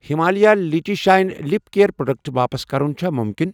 Himalaya lychee shine lip care product واپس کَرُن چھا مُمکِنٔؔ؟